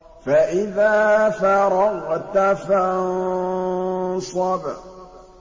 فَإِذَا فَرَغْتَ فَانصَبْ